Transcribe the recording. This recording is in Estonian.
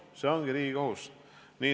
See ongi riigi kohus!